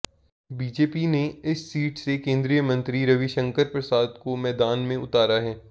BJP ने इस seat से केंद्रीय मंत्री रविशंकर प्रसाद को मैदान में उतारा है